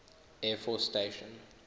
air force station